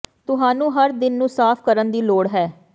ਤੁਹਾਨੂੰ ਹਰ ਦਿਨ ਨੂੰ ਸਾਫ ਕਰਨ ਦੀ ਲੋੜ ਹੈ